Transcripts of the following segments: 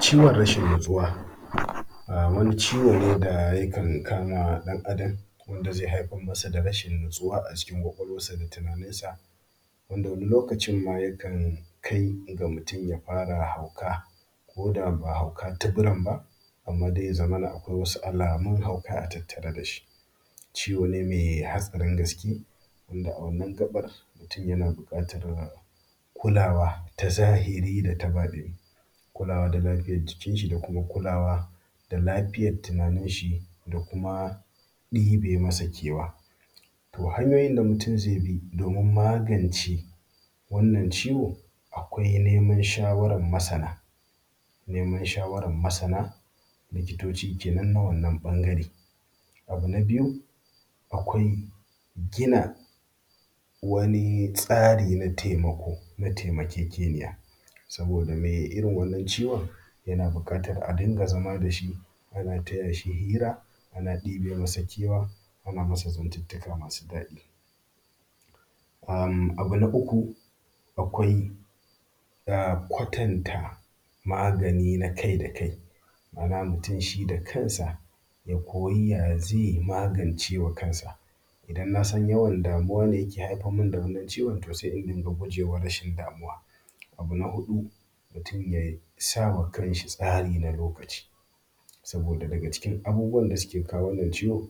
Ciwon rashin natsuwa, wani ciwo ne da yakan kama ɗan Adam wanda zai haifar masa da rashin natsuwa a cikin ƙwaƙwalwansa, da tunaninsa, wanda wani lokacin ma yakan kai ga mutum ma ya fara hauka koda ba hauka tuburan ba, amma dai ya zamana akwai wasu alamun hauka a tattare da shi. Ciwo ne mai hatsarin gaske. Wanda wannan a gaɓar mutum yana buƙatar kulawa ta zahiri da ta baɗini. Kulawa da lafiyar jikin shi, da kuma kulawa da lafiyar tunanin shi, da kuma ɗebe masa kewa. To hanyoyin da mutum zai bi domin magance wannan ciwo akwai neman shawaran masana. Neman shawaran masana likitoci kenan na wannan ɓangare, abu na biyu akwai gina wani tsari na taimako na taimakekeniya saboda mai irin wannan ciwon yana buƙatan a dinga zama da shi ana taya shi hira, ana ɗebe masa kewa, ana masa zantuntuka masu daɗi. Abu na uku akwai kwatanta magani na kai kai ma’ana mutum shi da kansa ya koyi ya zai yi ya magance wa kansa. Idan nasan yawan damuwa ne yake haifar mun da wannan ciwon. To sai in dinga gujewa rashin damuwa, abu na hudu mutum ya sa ma kanshi tsari na lokaci saboda daga cikin abubuwan da suke kawo wannan ciwon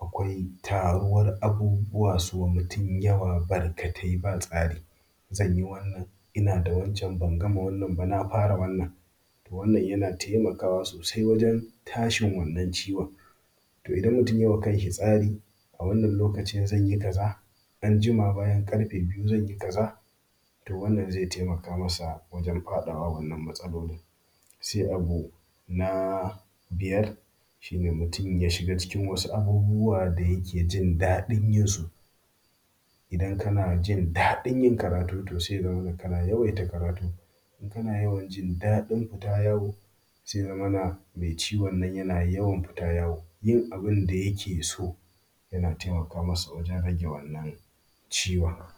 akwai taruwan abubuwa su wa mutum yawa barkatai ba tsari, zanyi wannan, ina da wancan, ban gama wannan ba, na fara wannan. To wannan yana taimakawa sosai wurin tashin wannan ciwon. Idan mutum yai wa kan shi tsari, a wannan lokacin zan yi kaza, anjima bayan ƙarfe biyu zan yi kaza, to wannan zai taimaka masa wajen faɗawa wannan matsalolin. Sai abu na biyar, shi ne mutum ya shiga cikin wasu abubuwa da yake jin daɗin yinsu. Idan kana jin daɗin yin karatu to sai ya zamana kana yawan yin karatu. Idan kana yawan jin daɗin fita yawo, to sai ya zamana mai ciwon nan yana yawan fita yawo. Yin abun da yake so yana taimaka masa a wajen rage wannan ciwon.